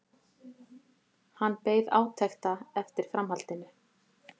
Hann beið átekta eftir framhaldinu.